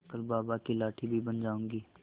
कल बाबा की लाठी भी बन जाऊंगी